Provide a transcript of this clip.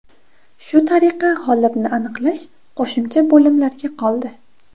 Shu tariqa g‘olibni aniqlash qo‘shimcha bo‘limlarga qoldi.